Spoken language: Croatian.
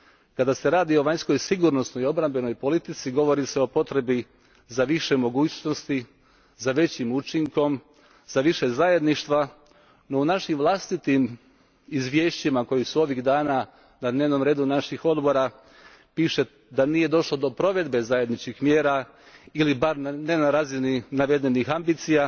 Kada se radi o Vanjskoj sigurnosnoj i obrambenoj politici, govori se o potrebi za više mogućnosti, za većim učinkom, za više zajedništva, no u našim vlastitim izvješćima koja su ovih dana na dnevnom redu naših odbora piše da nije došlo do provedbe zajedničkih mjera ili bar ne na razini navedenih ambicija